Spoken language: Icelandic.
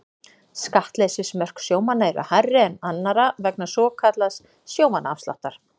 Skattleysismörk sjómanna eru hærri en annarra vegna svokallaðs sjómannaafsláttar.